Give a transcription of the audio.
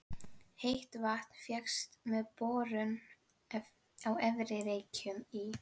Heitt vatn fékkst með borun á Efri-Reykjum í